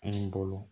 An bolo